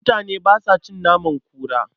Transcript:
Mutane ba sa a cin naman kura.